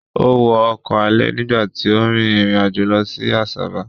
Ó wọ ọkọ̀ alẹ̀ nígbà tí ó rin ìrìn àjò lọ sí Asaba.